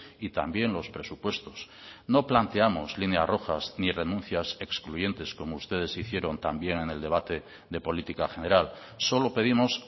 y también los presupuestos no planteamos líneas rojas ni renuncias excluyentes como ustedes hicieron también en el debate de política general solo pedimos